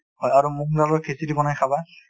হয়, আৰু মুগ দালৰ খিচিৰি বনাই খাবা |